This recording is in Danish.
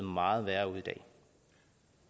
meget værre